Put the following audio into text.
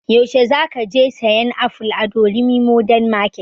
Yaushe za ka je sayan aful a durumi modern market?